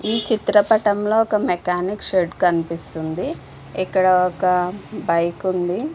ఈ చిత్ర పటంలో మెకానికల్ షెడ్ ఉంది. ఇక్కడ ఒక బైక్ ఉంది. .>